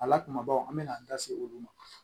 A la kumabaw an bɛ na an da se olu ma